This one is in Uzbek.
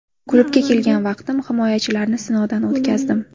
Klubga kelgan vaqtim himoyachilarni sinovdan o‘tkazdim.